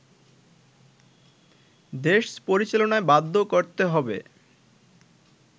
দেশ পরিচালনায় বাধ্য করতে হবে